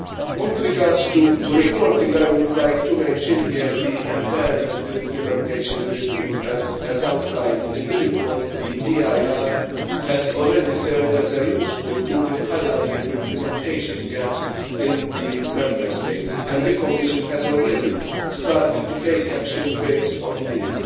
With regards to reporting, I would like to mention here the Environmental Implementation Review and, as outlined in the report, the EIR has already served as a useful tool in highlighting implementation gaps in the Member States, and the Commission has already started to take action based on these.